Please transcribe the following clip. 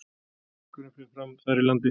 Leikurinn fer fram þar í landi